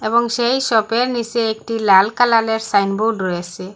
এবং সেই শপের নীচে একটি লাল কালালের সাইনবোর্ড রয়েসে।